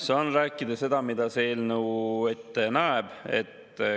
Saan rääkida seda, mida see eelnõu ette näeb.